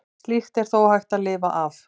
Slíkt er þó hægt að lifa af.